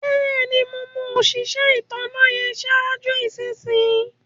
Bẹ́ẹ̀ni, mo mọ̀ òṣisẹ ìtànà yẹn sáàjú ìṣinyì.